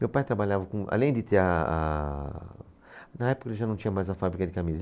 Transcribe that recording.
Meu pai trabalhava com... Além de ter a, a... Na época ele já não tinha mais a fábrica de camisas.